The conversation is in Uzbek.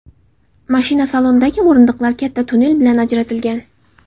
Mashina salonidagi o‘rindiqlar katta tunnel bilan ajratilgan.